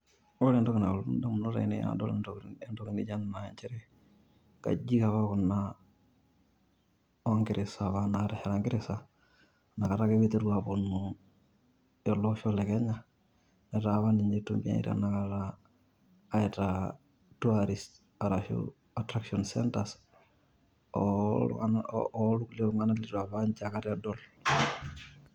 Ore entoki nalotu in`damunot ainei tenadol entoki naijo ena naa nchere, nkajijik apa kuna oo ngereza apa naatesheta ngereza inakata ake pee eponu ele osho le Kenya. Etaa apa ninche eitumiai tenakta aitaa tourist arashu attraction centers oo iltung`anak, oo irkule tung`anak litu apa ninche aikata edol.